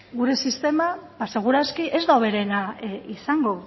gure sistema ba segur aski ez da hoberena izango